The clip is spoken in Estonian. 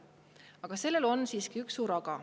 Ent siin on siiski üks suur aga.